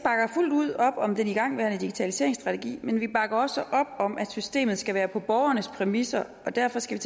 fuldt ud op om den igangværende digitaliseringsstrategi men vi bakker også op om at systemet skal være på borgernes præmisser og derfor skal